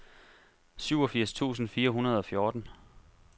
syvogfirs tusind fire hundrede og fjorten